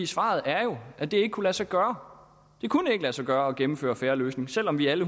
svaret er jo at det ikke kunne lade sig gøre det kunne ikke lade sig gøre at gennemføre fair løsning selv om vi alle